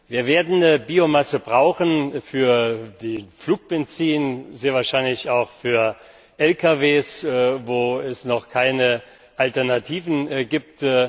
Wir werden Biomasse brauchen für Flugbenzin, sehr wahrscheinlich auch für Lkw, wo es noch keine Alternativen gibt.